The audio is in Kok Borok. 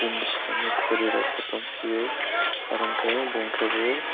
nai savo khuri rok tngpio abong ke bung ke bo--